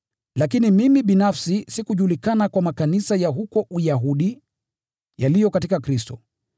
Lakini mimi binafsi sikujulikana kwa makanisa ya huko Uyahudi yaliyo katika Kristo.